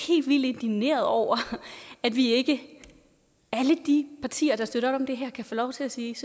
helt vildt indigneret over at vi ikke alle de partier der støtter op om det her kan få lov til at sige